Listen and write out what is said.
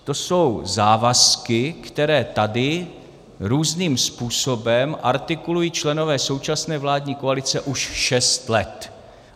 To jsou závazky, které tady různým způsobem artikulují členové současné vládní koalice už šest let.